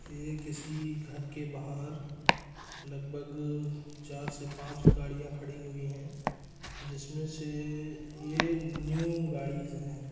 ये किसी घर के बाहार लगभग चार से पाँच गड़ियाॅं खड़ी हुई है जिसमें से ये न्यू गाड़िस है।